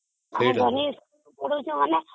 ସେଇଟା ତ